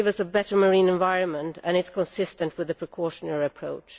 It would give us a better marine environment and is consistent with a precautionary approach.